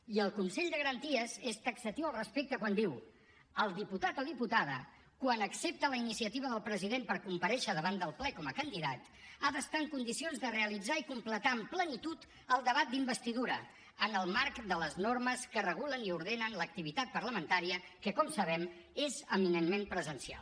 i el consell de garanties és taxatiu al respecte quan diu el diputat o diputada quan accepta la iniciativa del president per comparèixer davant del ple com a candidat ha d’estar en condicions de realitzar i completar amb plenitud el debat d’investidura en el marc de les normes que regulen i ordenen l’activitat parlamentària que com sabem és eminentment presencial